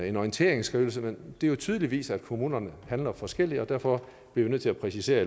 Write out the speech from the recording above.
en orienteringsskrivelse men det er jo tydeligt at kommunerne handler forskelligt og derfor bliver vi nødt til at præcisere